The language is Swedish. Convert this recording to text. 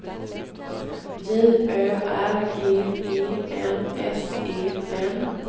J Ö R G E N S E N